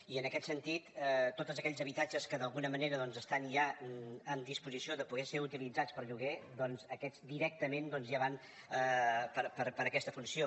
i en aquest sentit tots aquells habitatges que d’alguna manera estan ja en disposició de poder ser utilitzats per lloguer aquests directament ja van per a aquesta funció